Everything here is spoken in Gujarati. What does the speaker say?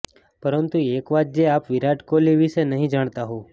પરંતુ એક વાત જે આપ વિરાટ કોહલી વિશે નહીં જાણતા હોવ